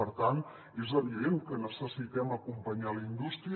per tant és evident que necessitem acompanyar la indústria